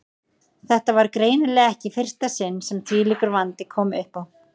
Þetta var greinilega ekki í fyrsta sinn sem þvílíkur vandi kom uppá.